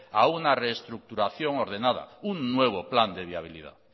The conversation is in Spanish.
a una reestructuración ordenada un nuevo plan de viabilidad